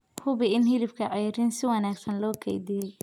Hubi in hilibka ceeriin si wanaagsan loo kaydiyay.